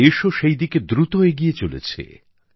দেশও সেই দিকে দ্রুত এগিয়ে চলেছে